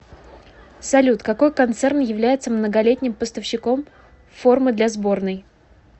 салют какой концерн является многолетним поставщиком формы для сборной